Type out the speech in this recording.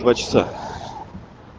два часа